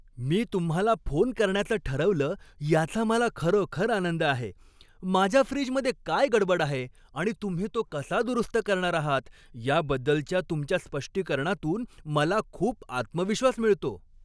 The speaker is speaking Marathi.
मी तुम्हाला फोन करण्याचं ठरवलं याचा मला खरोखर आनंद आहे, माझ्या फ्रीजमध्ये काय गडबड आहे आणि तुम्ही तो कसा दुरुस्त करणार आहात याबद्दलच्या तुमच्या स्पष्टीकरणातून मला खूप आत्मविश्वास मिळतो.